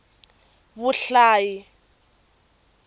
vuhlayi